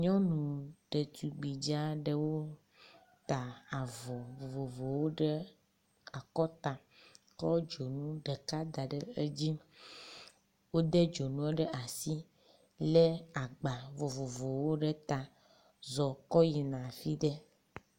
nyɔnu ɖetugbi dzaɖewo ta avɔ vovovowo ɖe akɔta tsɔ dzoŋu ɖeka daɖe dzi wóde dzonuwo ɖe asi wóle agba vovovowo ɖe ta zɔ kɔyina fiɖe